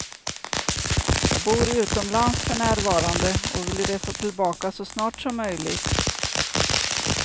Jag bor utomlands för närvarande och vill resa tillbaka så snart som möjligt.